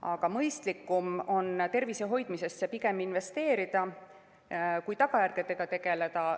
Aga mõistlikum on pigem tervise hoidmisesse investeerida kui tagajärgedega tegeleda.